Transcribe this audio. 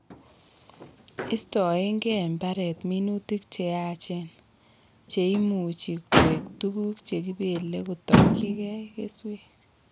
Istoegei mbareet minutik che yaacheen, che imuuchi koek tuguuk che kibeelei kotokyigei keswek.